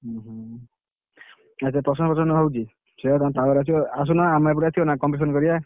ହୁଁ ହୁଁ, ଆଚ୍ଛା procession ହଉଛି, ତମ power ଆସିବ, ଆସୁନା ଆମ ଏପଟକୁ ଆସୁନା competition କରିଆ।